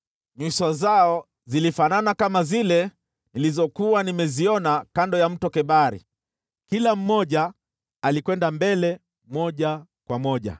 Nyuso zao zilifanana kama zile nilizokuwa nimeziona kando ya Mto Kebari. Kila mmoja alikwenda mbele moja kwa moja.